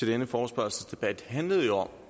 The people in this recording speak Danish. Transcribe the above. denne forespørgselsdebat handler jo om